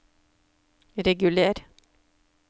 reguler